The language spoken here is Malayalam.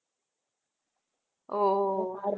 ഓ